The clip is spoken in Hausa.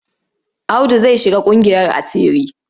Audu zai shiga ƙungiyar asiri.